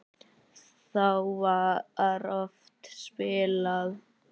Þá var oft spilað.